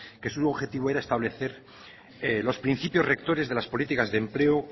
que su objetivo era establecer los principios rectores de las políticas de empleo